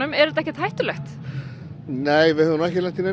er þetta ekkert hættulegt höfum ekki lent í neinu